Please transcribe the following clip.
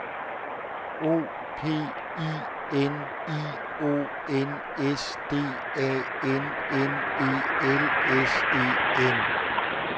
O P I N I O N S D A N N E L S E N